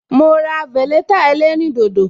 Ma ra veleta ẹlẹ́rìn dodo